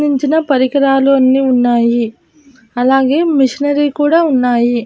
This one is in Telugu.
చిన్న చిన్న పరికరాలు అన్నీ ఉన్నాయి అలాగే మిషనరీ కూడా ఉన్నాయి.